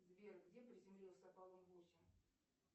сбер где приземлился аполлон восемь